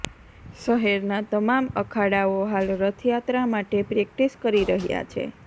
શહેરના તમામ અખાડાઓ હાલ રથયાત્રા માટે પ્રેક્ટિસ કરી રહ્યા છે